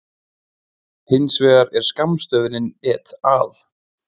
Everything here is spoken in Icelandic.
Hins vegar er skammstöfunin et al.